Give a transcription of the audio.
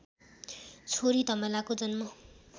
छोरी धमलाको जन्म